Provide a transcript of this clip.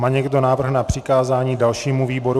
Má někdo návrh na přikázání dalšímu výboru?